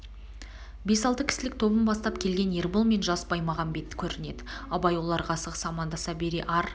бес-алты кісілік тобын бастап келген ербол мен жас баймағамбет көрнеді абай оларға асығыс амандаса бере ар